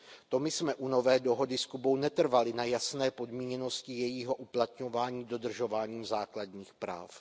To my jsme u nové dohody s Kubou netrvali na jasné podmíněnosti jejího uplatňování dodržováním základních práv.